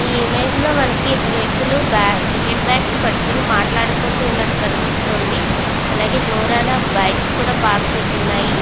ఈ ఇమేజ్ లో మనకి ఇద్దరు వ్యక్తులు బ్యా క్రికెట్ బాట్స్ పట్టుకొని మాట్లాడుకుంటూ ఉన్నట్టు కనిపిస్తోంది అలాగే దూరాన బైక్స్ కూడా పార్క్ చేసి వున్నాయి.